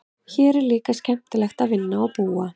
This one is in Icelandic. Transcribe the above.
Hér er líka skemmtilegt að vinna og búa.